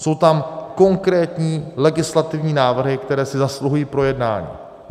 Jsou tam konkrétní legislativní návrhy, které si zasluhují projednání.